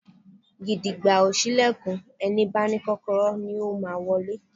Gìdìgbà ò ṣílẹ̀kùn, ẹni bá ní Kọ́kọ́rọ́ ni ó máa wọlé